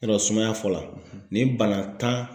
Yɔrɔ sumaya fɔ la nin bana tan